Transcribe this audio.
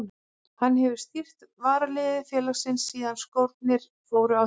Hann hefur stýrt varaliði félagsins síðan skórnir fóru á hilluna.